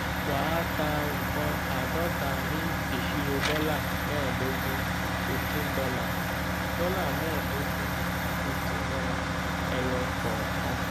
wà á ta nkán àádọta ní ìṣirò dọ́là mẹẹdogun fifteen dollar dọ́là mẹẹdogun fifteen dollar ẹyọ kọọkan.